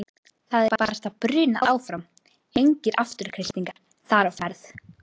Það er barasta brunað áfram, engir afturkreistingar þar á ferð.